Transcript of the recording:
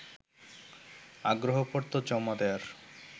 আগ্রহপত্র জমা দেয়ার